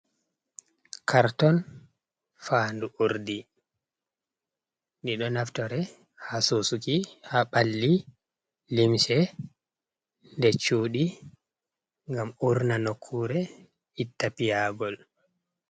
Karton faandu urdi, ɗi ɗo naftore haa suusuki haa ɓalli, limse, nder cuuɗi, ngam urna nokkuure, itta piyaagol.